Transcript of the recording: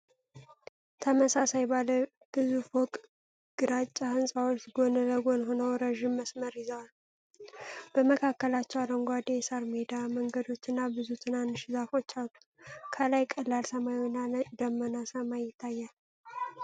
ተመሳሳይ ባለ ብዙ ፎቅ ግራጫ ሕንፃዎች ጎን ለጎን ሆነው ረጅም መስመር ይዘዋል። በመካከላቸው አረንጓዴ የሳር ሜዳ፣ መንገዶች እና ብዙ ትናንሽ ዛፎች አሉ። ከላይ ቀላል ሰማያዊና ነጭ ደመናማ ሰማይ ይታያል።